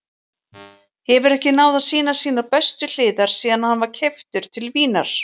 Hefur ekki náð að sýna sínar bestu hliðar síðan hann var keyptur til Vínar.